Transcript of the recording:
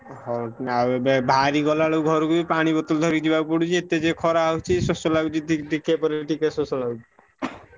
ହଉ ଆଉ ଏବେ ବାହାରି ଗଲା ବେଳୁ ଘରୁକୁ ବି ପାଣି ବୋତଲ ଧରିକି ଯିବାକୁ ପଡୁଛି। ଏତେ ଯେ ଖରା ହଉଛି, ଶୋଷ ଲାଗୁଚି ଦିକ୍ ଦିକିଆ ଶୋଷ ଲାଗୁଚି।